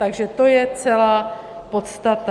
Takže to je celá podstata.